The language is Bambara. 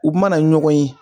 U mana ɲɔgɔn ye